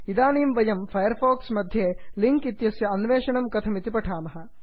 इदानीं वयं Firefox मध्ये लिङ्क् इत्यस्य अन्वेषणं कथमिति पठामः